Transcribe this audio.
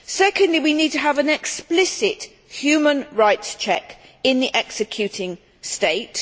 Secondly, we need to have an explicit human rights check in the executing state.